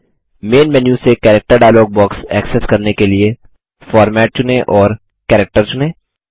man menu से character dialog box access करने के लिए फॉर्मेट चुनें और कैरेक्टर चुनें